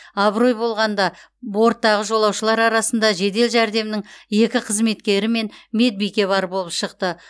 абырой болғанада борттағы жолаушылар арасында жедел жәрдемнің екі қызметкері мен медбике бар болып шықты